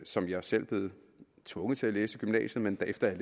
som jeg selv blev tvunget til at læse i gymnasiet men efter at